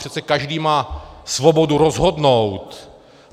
Přece každý má svobodu rozhodnout.